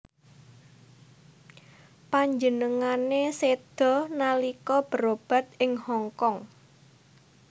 Panjenengané séda nalika berobat ing Hong Kong